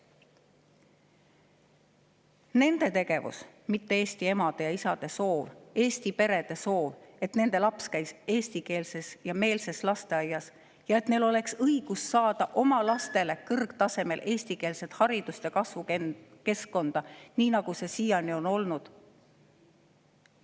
Nende tegevus, mitte eesti emade ja isade soov, eesti perede soov, et nende laps käiks eestikeelses ja -meelses lasteaias, et neil oleks õigus saada oma lastele kõrgtasemel eestikeelset haridust ja kasvukeskkonda, nii nagu see seni on olnud.